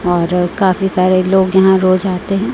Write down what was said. और काफी सारे लोग यहां रोज आते हैं।